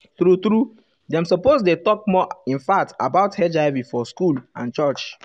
true true dem suppose dey talk more infact about hiv for school and church.